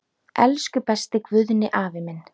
Elsku besti Guðni afi minn.